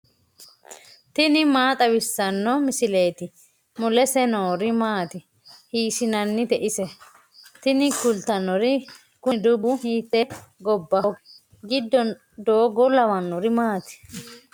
tini maa xawissanno misileeti ? mulese noori maati ? hiissinannite ise ? tini kultannori kuni dubbu hiite gobbaho giddo doogo lawannori maati